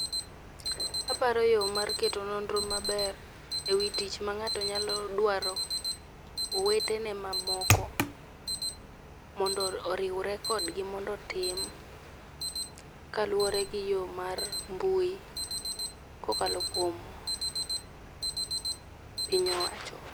Aparo yo mar keto nonro maber e wi tich mang'ato nyalo dwaro. Owetene ma moko mondo oriwre kodgi mondo otim kaluwore gi yo mar mbui kokalo kuom piny owacho.